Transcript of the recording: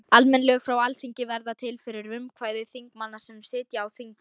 Almenn lög frá Alþingi verða til fyrir frumkvæði þingmanna sem sitja á þingi.